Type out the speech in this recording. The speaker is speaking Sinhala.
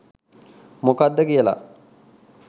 මොකක්ද කියලා?